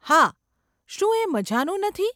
હા. શું એ મઝાનું નથી?